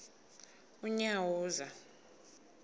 unyawuza